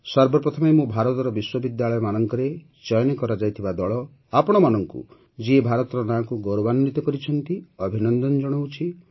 ସର୍ବପ୍ରଥମେ ମୁଁ ଭାରତର ବିଶ୍ୱବିଦ୍ୟାଳୟମାନଙ୍କରେ ଚୟନ କରାଯାଇଥିବା ଦଳ ଆପଣମାନଙ୍କୁ ଯିଏ ଭାରତର ନାଁକୁ ଗୌରବାନ୍ୱିତ କରିଛନ୍ତି ଅଭିନନ୍ଦନ ଜଣାଉଛି